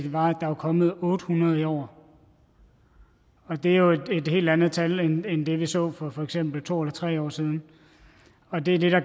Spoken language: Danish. var at der er kommet otte hundrede i år det er jo et helt andet tal end det vi så for for eksempel to eller tre år siden og det er det der